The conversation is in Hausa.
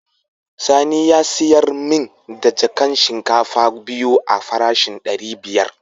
Sani ya sayar min da jakan shinkafa biyu a farashin dari biyar.